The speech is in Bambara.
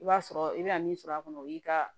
I b'a sɔrɔ i bɛna min sɔrɔ a kɔnɔ o y'i ka